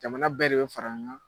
Jamana bɛɛ de bɛ fara